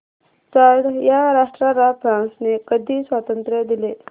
Chad या राष्ट्राला फ्रांसने कधी स्वातंत्र्य दिले